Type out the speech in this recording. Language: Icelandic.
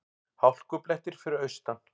Hálkublettir fyrir austan